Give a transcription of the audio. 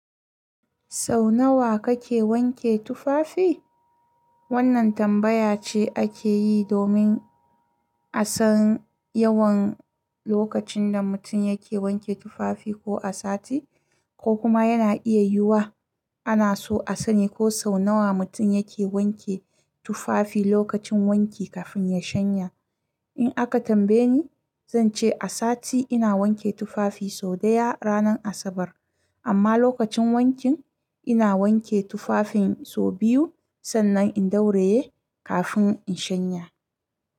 Sau nawa kake wanke tufafi? Wannan tambaya ce ake yi domin a san yawan lokacin da mutum yake wanke tufafi ko a sati, ko kuma yana iya yiwuwa ana so a sani ko sau nawa mutum yake wanke tufafi lokacin wanki kafin ya shanya. In aka tambaye ni, zan ce a sati ina wanke tufafi sau ɗaya ranar Asabar. Amma lokacin wanki ina wanke tufafin sau biyu sannan in ɗauraye kafin in shanya.